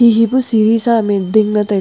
ehe bu siri sah mem dum la tai--